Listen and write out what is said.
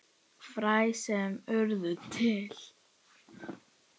Fræ sem urðu til.